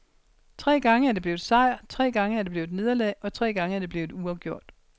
Tre gange er det blevet sejr, tre gange er det blevet nederlag, og tre gange er det blevet uafgjort.